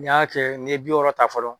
N'i y'a kɛ nin ye bi wɔɔrɔ ta fɔlɔ